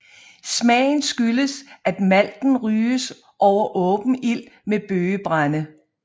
Smagen skyldes at malten ryges over åben ild med bøgebrænde